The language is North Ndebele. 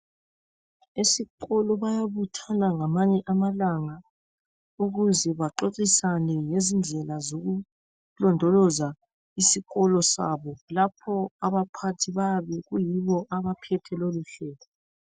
Esikolo bayabuthana ngamanye amalanga ukuze baxoxisane ngezindlela zokulondoloza isikolo sabo. Lapho abaphathi bayabe kuyibo abaphethe loluhlelo.